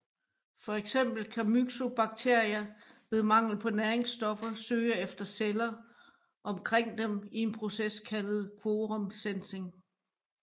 For eksempel kan Myxobacteria ved mangel på næringsstoffer søge efter celler omkring dem i en proces kaldet quorum sensing